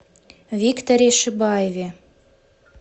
викторе шибаеве